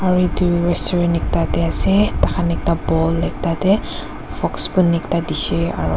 aru etu restaurant ekta teh ase tahan ekta bowl ekta dey fox spon ekta dishe aro --